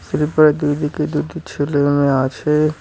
Sleeper -এর দুই দিকে দুটি ছেলে মেয়ে আছে।